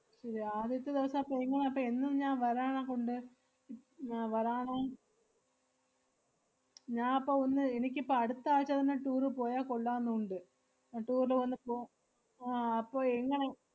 ശെരി ആദ്യത്തെ ദെവസം അപ്പ എങ്ങനാ, അപ്പ എന്നും ഞാൻ വരാനെക്കൊണ്ട് ഉം ആഹ് വരാനാ? ഞാ~ അപ്പൊ ഒന്ന് എനിക്കിപ്പ അടുത്താഴ്ച്ച തന്നെ tour പോയാ കൊള്ളാന്ന് ഉണ്ട്. അഹ് tour ന് വന്നപ്പൊ ആഹ് അപ്പൊ എങ്ങനെ